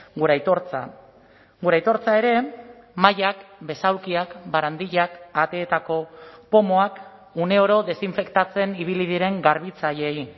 gure aitortza gure aitortza ere mahaiak besaulkiak barandillak ateetako pomoak uneoro desinfektatzen ibili diren garbitzaileei